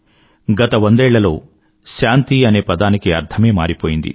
గత వందేళ్లలో శాంతి అనే పదానికి అర్థమే మారిపోయింది